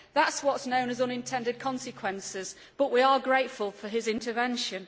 That is what is known as unintended consequences, but we are grateful for his intervention.